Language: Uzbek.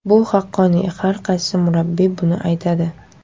Bu haqqoniy, har qaysi murabbiy buni aytadi.